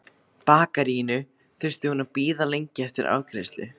bakaríinu þurfti hún að bíða lengi eftir afgreiðslu.